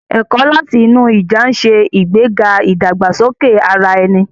Ẹ̀kọ́ láti inú ìjà ń ṣe ìgbéga ìdàgbàsókè ara ẹni.